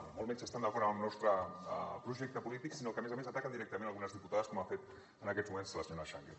ni molt menys estan d’acord amb el nostre projecte polític sinó que a més a més ataquen directament algunes diputades com ha fet en aquests moments la senyora changue